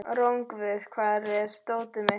Rongvuð, hvar er dótið mitt?